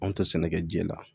Anw tɛ sɛnɛkɛ ji la